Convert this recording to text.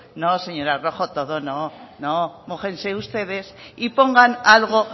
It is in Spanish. no señora rojo todo no no mójense ustedes y pongan algo